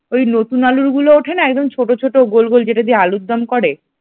ওই নতুন আলুর গুলো ওঠে না একদম ছোট ছোট গোল গোল যেটা দিয়ে আলুরদম করে।